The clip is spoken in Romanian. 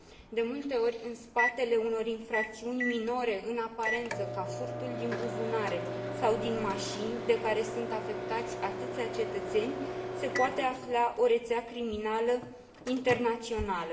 De multe ori, în spatele unor infracțiuni minore în aparență, cum ar fi furtul din buzunare sau din mașini, de care sunt afectați atâția cetățeni, se poate afla o rețea criminală internațională.